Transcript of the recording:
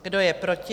Kdo je proti?